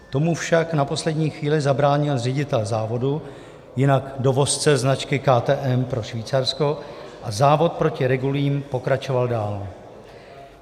Tomu však na poslední chvíli zabránil ředitel závodu, jinak dovozce značky KTM pro Švýcarsko, a závod proti regulím pokračoval dál.